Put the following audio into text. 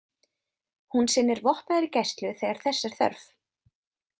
Hún sinnir vopnaðri gæslu þegar þess er þörf.